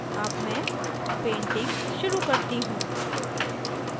अब मैं painting शुरू करती हूँ